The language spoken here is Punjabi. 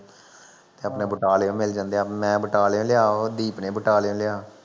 ਆਪਣੇ ਬਟਾਲਿਔ ਮਿਲ ਜਾਂਦੇ। ਮੈਂ ਬਟਾਲਿਔ ਲਿਆ ਤੇ ਦੀਪ ਨੇ ਬਟਾਲਿਔ ਲਿਆ